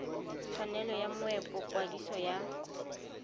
tshwanelo ya moepo kwadiso ya